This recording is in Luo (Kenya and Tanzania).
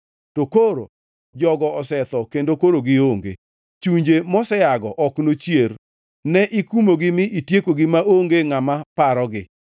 To koro jogo osetho kendo koro gionge; chunje moseago ok nochier. Ne ikumogi mi itiekogi maonge ngʼama parogi.